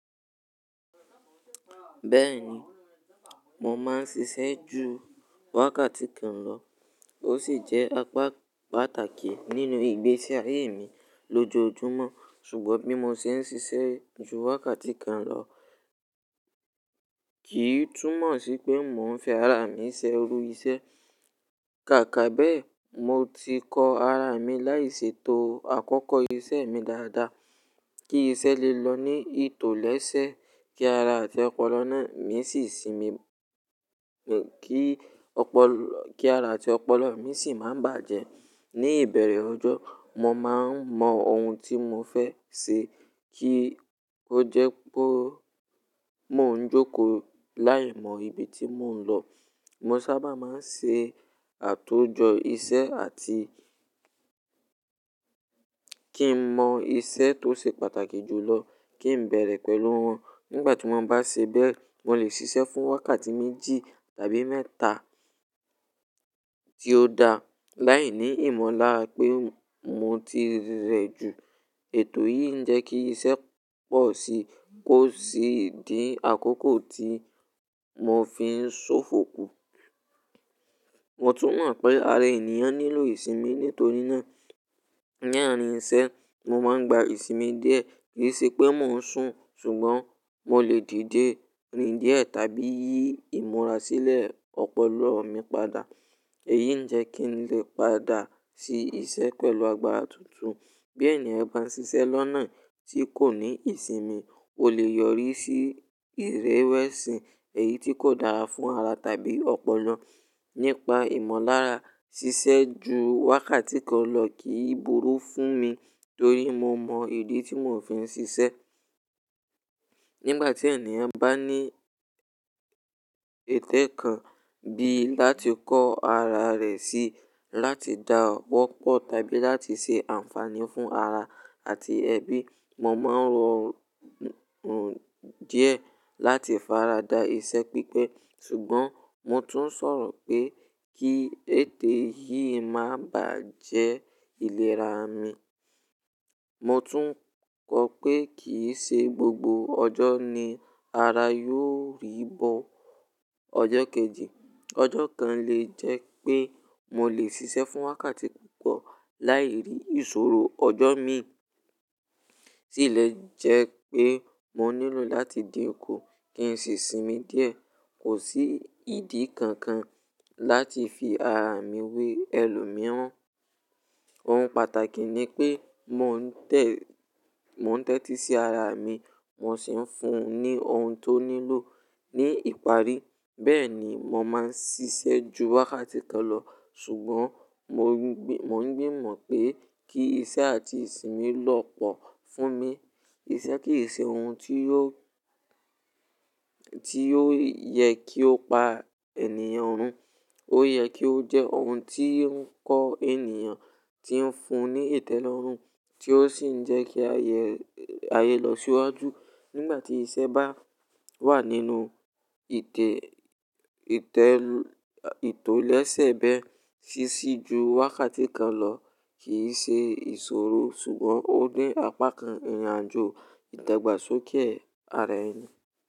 Bẹ́ẹ̀ni, mo máa ń ṣiṣẹ́ ju wákàtí kan lọ. Ó sì jẹ́ apá pàtàkì nínú ìgbésí ayé mi lójoojúmọ́. Ṣùgbọ́n bí mo ṣe ń ṣiṣẹ́ ju wákàtí kan lọ kì í túmọ̀ sí pé mò ń fi ara mi ṣẹ rú iṣẹ́. Kàkà be mo ti kọ arami láì ṣe tó àkókò iṣẹ́ mi dáda, kí iṣẹ́ lè lọ ní ètò leese kí ara àti ọpọlọ mi sì sinmi àti ọpọlọ mí sì máa bàjẹ́. Ni ìbẹ̀rẹ̀ ọjọ́, mo máa ń mọ ohun tí mo fẹ́ ṣe kí ó jẹ́ pé mò ń jókòó láìmọ̀ ibi tí mò ń lọ. Mo sábà máa ń ṣe àtójọ iṣẹ́ àti kin mọ iṣẹ́ tó ṣe pàtàkì jùlọ kin béèrè pẹ̀lú wọn nígbà tí mo bá ṣe bẹ́ẹ̀ mo lè ṣiṣẹ́ fún wákàtí méjì tàbí mẹ́ta tì ó da láìní ìmọ̀lára pé mo tire jù. Ètò yìí ń jẹ́ kí iṣẹ́ pọ̀ sí i kó sì di àkókò tí mò ń fi ń ṣòfò kù. Mo tún mọ̀ pé ara ènìyàn nílò ìsinmi. Nítorí náà láàrin iṣẹ́ mo man gba ìsimi díẹ̀, kin sepe mò ń sùn. Ṣùgbọ́n mo lè dìde rìn díẹ̀ tàbí yí ìmúra sílẹ̀ ọ̀pọ̀lọpọ̀ mí padà. Èyí ń jẹ́ kí n lè padà sí iṣẹ́ pẹ̀lú agbára tuntun. Bí ènìyàn bá ń ṣiṣẹ́ lọ́nà tí kò ní ìsinmi, ó lè yọrí sí ìréwẹ̀sì, èyí tí kò dára fún ara tàbí ọpọlọ. Nípa ìmọ̀lára, ṣiṣẹ́ ju wákàtí kan lọ kì í burú fún mi torí mo mọ ìdí tí mò ń fi ń ṣiṣẹ́. Nígbà tí ènìyàn bá ní ètè kan bi láti kọ́ ara rẹ̀ sí láti dá ọwọ́ pọ̀ tàbí láti ṣe ànfàní fún ara àti ẹbí, mo màa rọ díẹ̀ láti faradà iṣẹ́ pípẹ́. Ṣùgbọ́n mo tún ń sọ̀rọ̀ pé kí ètè yìí má bàjẹ́ ìlera mi. Mo tún kọ̀ pé kì í ṣe gbogbo ọjọ́ ni ara yóò rí bọ̀ ọjọ́ kejì. Ọjọ́ kan lè jẹ́ pé mo lè ṣiṣẹ́ fún wákàtí púpọ̀ láì rí ìṣòro. Ọjọ́ mi sì lè jẹ́ pé mò nílò láti di òkú kí n sì sinmi díẹ̀. Kò sí ìdí kankan láti fi ara mi wé ẹlòmíràn. Ohun pàtàkì ni pé mò ń tẹ́tí sí ara mi, mò sì ń fún un ní ohun tó nílò ní ìparí. Bẹ́ẹ̀ ni, mo máa ń ṣiṣẹ́ ju wákàtí kan lọ, ṣùgbọ́n mò ń gbìmọ̀ pé kí iṣẹ́ àti ìsinmi lọ̀ pọ̀ fún mi. Iṣẹ́ kì í ṣe ohun tí yóò yẹ kí ó pa ènìyàn run. Ó yẹ kí ó jẹ́ ohun tí ń kọ́ ènìyàn, tí ń fún ní ìtẹ́lọ́rùn, tí ó sì ń jẹ́ kí ayé lọ síwájú. Nígbà tí iṣẹ́ bá wà nínú ìtọ́lẹ́sẹ́ bẹ́ẹ̀, ṣíṣí ju wákàtí kan lọ kì í ṣe ìṣòro ṣùgbọ́n ó dín apá kan ìrìnàjò ìdàgbàsókè ara ẹni.